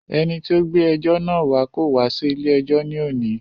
Ẹni tí o gbé ẹjọ́ náà wá kò wá sí ilé ẹjọ́ ní òní.